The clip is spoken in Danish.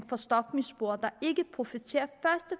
for stofmisbrugere der ikke profiterer